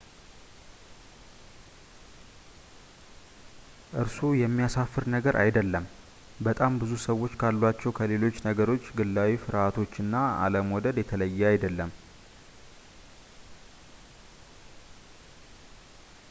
እርሱ የሚያሳፍር ነገር አይደለም በጣም ብዙ ሰዎች ካሏቸው ከሌሎች ነገሮች ግላዊ ፍርሃቶችና አለመውደዶች የተለየ አይደለም